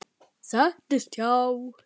Settist hjá